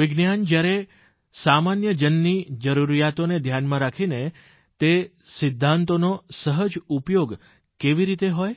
વિજ્ઞાન જયારે સામાન્યજનની જરૂરિયાતોને ધ્યાનમાં રાખીને તે સિદ્ધાંતોનો સહજ ઉપયોગ કેવી રીતે હોય